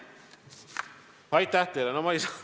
Aitäh teile!